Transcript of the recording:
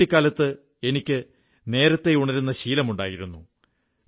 പക്ഷേ കുട്ടിക്കാലത്ത് എനിക്ക് നേരത്തേ ഉണരുന്ന ശീലമുണ്ടായിരുന്നു